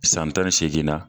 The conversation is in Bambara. San tan ni seeginna